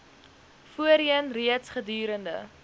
voorheen reeds gedurende